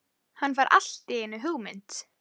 Hann fær allt í einu hugmynd.